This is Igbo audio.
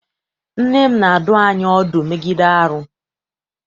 Nne m na-adụ anyị ọdụ megide arụ.